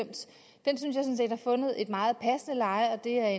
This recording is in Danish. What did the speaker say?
har fundet et meget passende leje og at det er